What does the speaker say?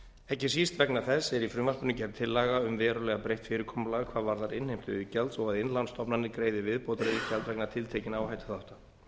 ekki síst vegna þessa er í frumvarpinu gerð tillaga um verulega breytt fyrirkomulag hvað varðar innheimtu iðgjalds og að innlánsstofnanir greiði viðbótariðgjald vegna tiltekinna áhættuþátta